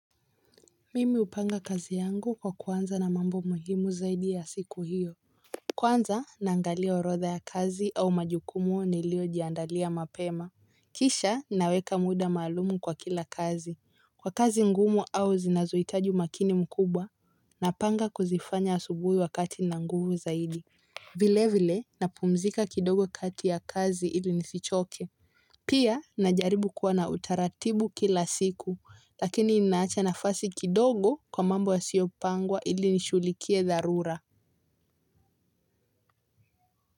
Mimi hupanga kazi yangu kwa kuanza na mambo muhimu zaidi ya siku hiyo. Kwanza naangalia orodha ya kazi au majukumu nilio jiandalia mapema. Kisha naweka muda maalumu kwa kila kazi, kwa kazi ngumu au zinazohitaji umakini mkubwa. Napanga kuzifanya asubuhi wakati nina nguvu zaidi. Vile vile napumzika kidogo kati ya kazi ili nisichoke. Pia, najaribu kuwa na utaratibu kila siku, lakini ninawacha nafasi kidogo kwa mambo yasiopangwa ili nishughulikie dharura.